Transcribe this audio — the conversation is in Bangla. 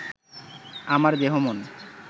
আমার দেহ মন